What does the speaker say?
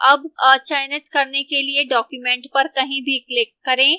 अब अचयनित करने के लिए document पर कहीं भी click करें